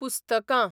पुस्तकां